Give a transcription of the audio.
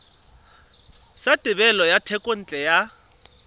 sa thebolo ya thekontle ya